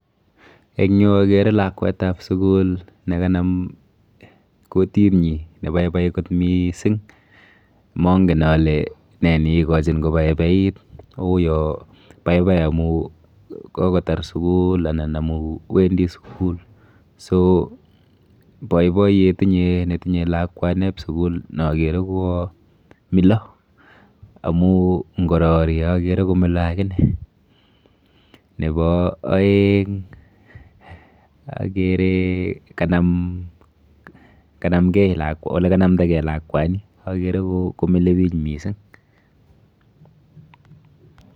Eng yu akere lakwet ab sukul ne kanam kutit nyi nebaibai kot miising mangen ale ne nikikochin kobaibait u ya baibai amu kokotar sukul anan amu wendi sukul [so] baibayet inye netinye lakwan neb sukul nakere kuo mila amu ngorarie akere komila agine ,nebo aeng akere ole kanamdakei lakwani akere komila biich